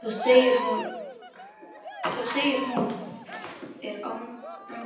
Svo segir hún og er angurvær